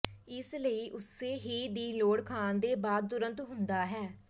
ਇਸ ਲਈ ਉਸੇ ਹੀ ਦੀ ਲੋੜ ਖਾਣ ਦੇ ਬਾਅਦ ਤੁਰੰਤ ਹੁੰਦਾ ਹੈ